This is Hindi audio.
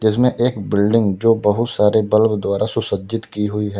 जिसमें एक बिल्डिंग जो बहुत सारे बल्ब द्वारा सुसज्जित की हुई है।